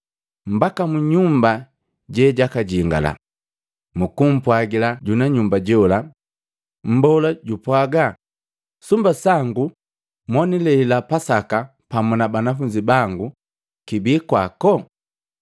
mbaka mu nyumba jejakajingala, mukupwagila junanyumba jola, ‘Mbola jupwaga, sumba sangu monilelila Pasaka pamu na banafunzi bango kibi kwako?’